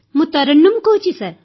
ମୁଁ ତରନ୍ନୁମ୍ କହୁଛି